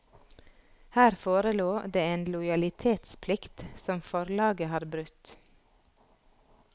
Her forelå det en lojalitetsplikt som forlaget har brutt.